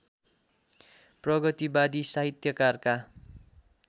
प्रगतिवादी साहित्यकारका